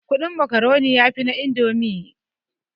Kudin makaroni yafi na indomi